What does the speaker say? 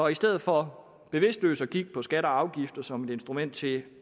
i stedet for bevidstløst at kigge på skatter og afgifter som et instrument til at